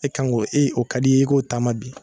E kan ko e o ka d'i ye i k'o taama bi